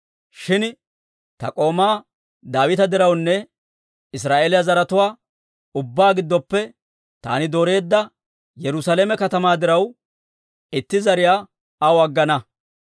Shin ta k'oomaa Daawita dirawunne Israa'eeliyaa zaratuwaa ubbaa giddoppe taani dooreedda Yerusaalame katamaa diraw, itti zariyaa aw aggana.